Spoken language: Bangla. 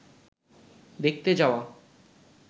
দেখতে যাওয়া